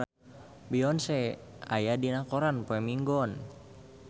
Beyonce aya dina koran poe Minggon